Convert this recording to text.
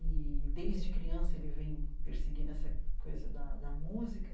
e, desde criança, ele vem perseguindo essa coisa da da música.